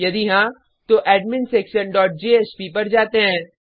यदि हाँ तो adminsectionजेएसपी पर जाते हैं